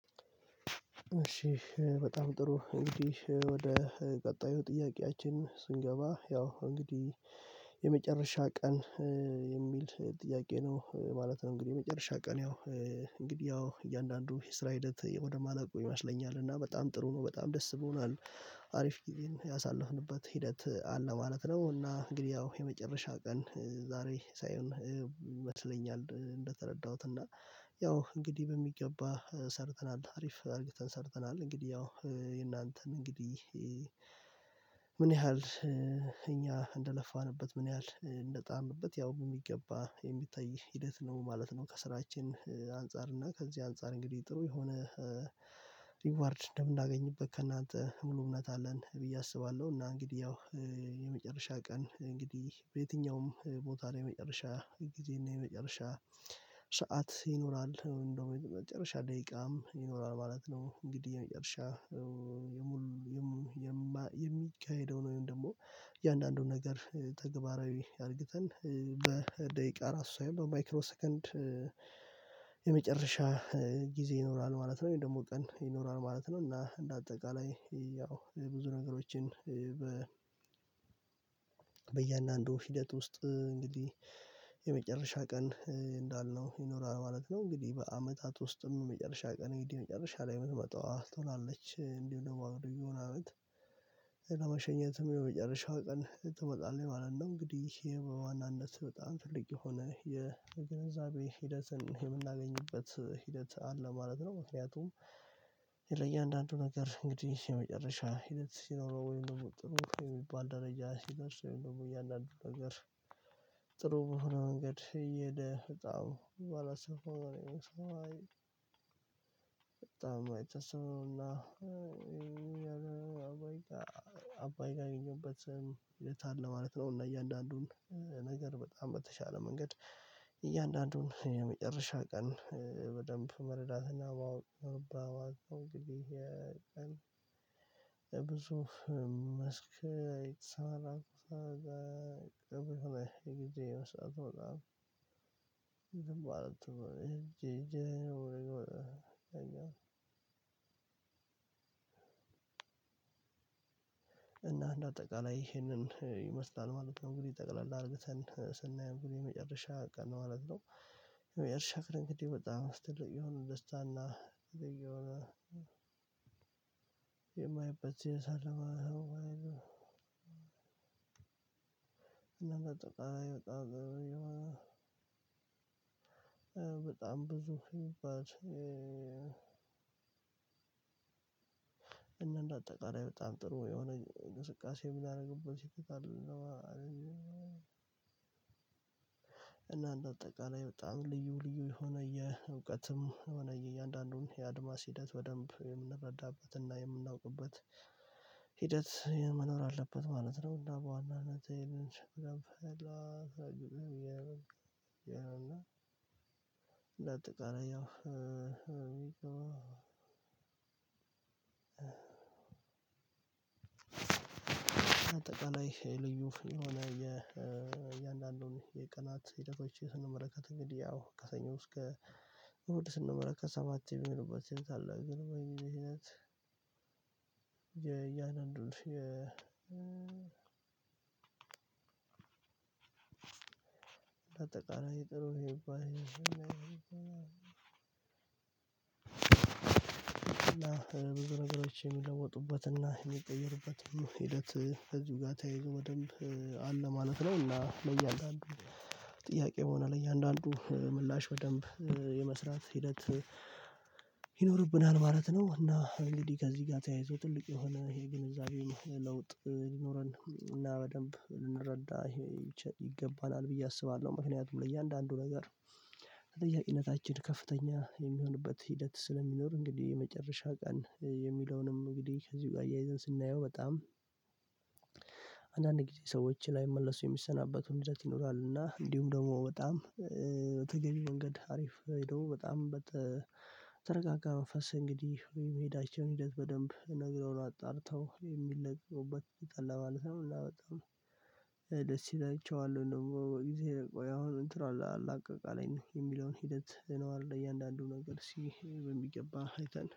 እሺ በጣም ጥሩ እንግዲህ ወደ ቀጣዩ ጥያቄያችን ስንገባ ያው እንግዲህ የመጨረሻ ቀን የሚል ጥያቄ ነው ማለት ነው። እንግዲህ የመጨረሻ ቀን ያው እንግዲህ ያው እያንዳንዱ የስራ ሂደት ወደማለቁ ይመስለኛል እና በጣም ጥሩ ነው በጣም ደስ ብሆናል አሪፍ ጊዜን ያሳለፍንበት ሂደት አለ ማለት ነው። እና እንግዲህ ያው የመጨረሻ ቀን ዛሬ ሳይሆን ይመስለኛል እንደተረዳሁት እና ያው እንግዲህ በሚገባ ሰርተናል አሪፍ አርግተን ተንሰርተናል እንግዲህ ያው የእናንተን እንግዲህ ምን ያህል እኛ እንደለፋንበት ምን ያህል እንደጣርንበት ያው የሚገባ የሚታይ ሂደት ነው ማለት ነው። ከስራችን አንፃር እና ከዚህ አንፃር እንግዲህ ጥሩ የሆነ ሪዋርድ እንደምናገኝበት ከእናንተ ሙሉ እውነት አለን ብዬ አስባለሁ። እና እንግዲህ ያው የመጨረሻ ቀን እንግዲህ በየትኛውም ቦታ ላይ የመጨረሻ ጊዜ የመጨረሻ ሰዓት ይኖራል እንደው የመጨረሻ ደቂቃም ይኖራል ማለት ነው። እንግዲህ የመጨረሻ የሚካሄደው ነው ወይም ደግሞ እያንዳንዱን ነገር ተግባራዊ አርግተን በደቂቃ ራሱ በማይክሮ ሰከንድ የመጨረሻ ጊዜ ይኖራል ማለት ነው ወይም ደግሞ ቀን ይኖራል ማለት ነው። እና እንደ አጠቃላይ ያው ብዙ ነገሮችን በ በየአንዳንዱ ሂደት ውስጥ እንግዲህ የመጨረሻ ቀን እንዳልነው ይኖራል ማለት ነው። እንግዲህ በአመታት ውስጥም የመጨረሻ ቀን እንግዲህ መጨረሻ ላይ የምትመጣዋ ትሆናለች እንዲሁ ደግሞ አሮገውን አመት ለመሸኘትም የመጨረሻው ቀን ትመጣለች ማለት ነው። እንግዲህ ይሄ በዋናነት በጣም ትልቅ የሆነ የግንዛቤ ሂደትን የምናገኝበት ሂደት አለ ማለት ነው። ምክንያቱም ለእያንዳንዱ ነገር እንግዲህ የመጨረሻ ሂደት ሲኖረው ወይም ደግሞ ጥሩ የሚባል ደረጃ ሲኖር ሰው ወይም ደግሞ እያንዳንዱ ነገር ጥሩ በሆነ መንገድ እየሄደ በጣም ባላሰፋው ነው በጣም አይተሰብም ነውና አባይ ያገኘሁበትን የት አለ ማለት ነው። እና እያንዳንዱን ነገር በጣም በተቻለ መንገድ እያንዳንዱን የመጨረሻ ቀን በደንብ መረዳትና በአውት በአውት ነው። እንግዲህ የቀን ብዙ መስክ ሳራቁ ሳራቅ ብትል ይግዜው ሳትወጣ ዝም ባለት እጄ እጄ ነው የምለው እጄ ነው እና እንደ አጠቃላይ ይሄንን ይመስላል ማለት ነው። እንግዲህ ጠቅላላ አርግተን ስናይ እንግዲህ የመጨረሻ ቀን ማለት ነው። የመጨረሻ ክረኝ እንግዲህ በጣም ትልቅ የሆነ ደስታና የሆነ የማይ በዝያ ሳልሆን አይደለም። እና ባጠቃላይ በጣም ጥሩ እየሆነ በጣም ብዙ የምባጅ እና እንደ አጠቃላይ በጣም ጥሩ የሆነ ንስቃሴ ምናደርግበት ሲቲክ አይደለም። እና እንደ አጠቃላይ በጣም ልዩ ልዩ የሆነ የእውቀትም የእያንዳንዱን የአድማስ ሂደት በደንብ የምንረዳበትና የምናውቅበት ሂደት መኖር አለበት ማለት ነው። እና በዋናነት እና እንደ ጠቃላይ አዎ አጠቃላይ ልዩ ላይ የእያንዳንዱን የቀናት ሂደቶች ስንመለከት እንግዲህ ያው ከሰኞ እስከ እሁድ ስንመለከት ሰባት የሚሆንባት ስልት አለ። እንግዲህ በዚህ ምክንያት የአጠቃላይ ጥሩ የሚባል ነገሮች የሚለውጡበትና የሚቀይሩበትን ሂደት እዚሁ ጋር ተያይዞ በደንብ አለ ማለት ነው። እና ለእያንዳንዱ ጥያቄ በሆነ ለእያንዳንዱ ምላሽ በደንብ የመስራት ሂደት ይኖርብናል ማለት ነው። እና እንግዲህ ከዚህ ጋር ተያይዞ ትልቅ የሆነ ይሄ ግንዛቤው ለውጥ ሊኖረን እና በደንብ ልንረዳ ይገባናል ብዬ አስባለሁ። ምክንያቱም ለእያንዳንዱ ነገር በጥያቄነታችን ከፍተኛ የሚሆንበት ሂደት ስለሚኖር እንግዲህ የመጨረሻ ቀን የሚለውንም እንግዲህ ከዚሁ ጋር አያይዘን ስናየው በጣም አንዳንድ ጊዜ ሰዎች ላይ መልሶ የሚሰናበቱን ሰዓት ይኖራል እና እንዲሁም ደግሞ በጣም በተገቢ መንገድ አሪፍ ሄዶ በጣም በተረጋጋ መንፈስ እንግዲህ ወይም መሄዳቸውን ሂደት በደንብ ነግረው አጣርተው የሚለቀቁበት በጠላ ማለት ነው። ደስ ይላቸዋለሁ ደግሞ በጊዜ ቆይ አሁን እንትን አላቀቅ አለኝ የሚለውን ሂደት ነው አለ እያንዳንዱ ነገር እስቲ በሚገባ አይተን